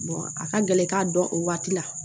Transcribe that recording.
a ka gɛlɛ i k'a dɔn o waati la